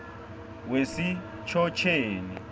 wesitjhotjheni